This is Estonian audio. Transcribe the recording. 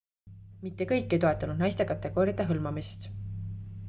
mitte kõik ei toetanud naiste kategooriate hõlmamist